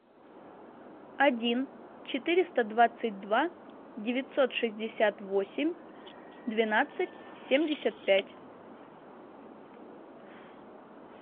один четыреста двадцать два девятьсот шестьдесят восемь двенадцать семьдесят пять